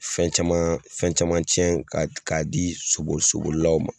Fɛn caman fɛn caman tiɲɛ k'a k'a di soboli sobolilaw ma.